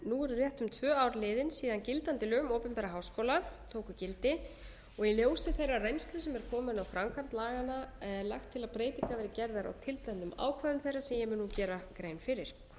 nú eru rétt um tvö ár liðin síðan gildandi lög um opinbera háskóla tóku gildi og í ljósi þeirrar reynslu sem er komin á framkvæmd laganna er lagt til að breytingar verði gerðar á tilteknum ákvæðum þeirra sem ég mun nú gera grein fyrir